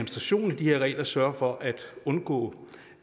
de her regler sørger for at undgå